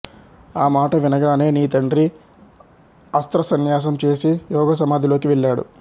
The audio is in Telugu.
ఆ మాట వినగానే నీ తండ్రి అస్త్రసన్యాసం చేసి యోగసమాధిలోకి వెళ్ళాడు